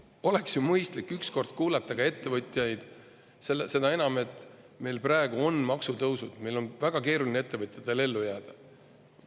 Oleks ju mõistlik üks kord kuulata ka ettevõtjaid, seda enam, et meil on praegu maksutõusud ja ettevõtjatel on väga keeruline ellu jääda.